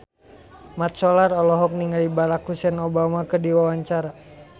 Mat Solar olohok ningali Barack Hussein Obama keur diwawancara